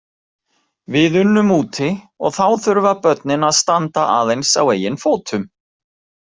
Við unnum úti og þá þurfa börnin að standa aðeins á eigin fótum.